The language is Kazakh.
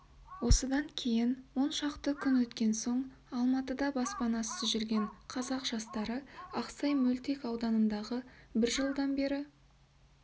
осыдан кейін он шақты күн өткен соң алматыда баспанасыз жүрген қазақ жастары ақсай мөлтек ауданындағы бір жылдан бері